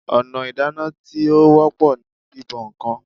Ọ̀nà ìdáná tí ó wọ́pọ̀ ni bíbọ ǹkan